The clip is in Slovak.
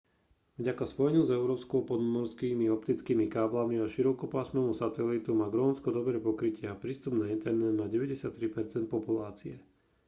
vďaka spojeniu s európou podmorskými optickými káblami a širokopásmovému satelitu má grónsko dobré pokrytie a prístup na internet má 93 % populácie